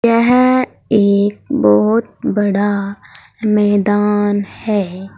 यह एक बहुत बड़ा मैदान है।